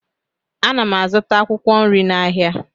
Ana m azụta akwụkwọ nri n'ahịa